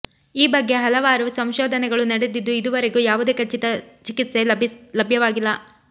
ಈ ಬಗ್ಗೆ ಹಲವಾರು ಸಂಶೋಧನೆಗಳು ನಡೆದಿದ್ದು ಇದುವರೆಗೂ ಯಾವುದೇ ಖಚಿತ ಚಿಕಿತ್ಸೆ ಲಭ್ಯವಾಗಿಲ್ಲ